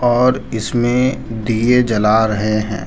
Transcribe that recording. और इसमें दिए जला रहे हैं।